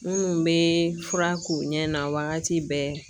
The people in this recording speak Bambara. Munnu be fura k'u ɲɛ na wagati bɛɛ